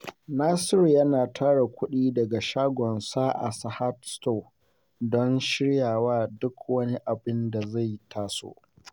Nasiru yana tara kudi daga shagonsa a Sahad Stores don shirya wa duk wani abin da zai taso.